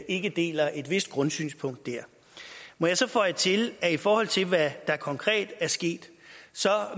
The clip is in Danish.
ikke deler et vist grundsynspunkt der må jeg så føje til at i forhold til hvad der konkret er sket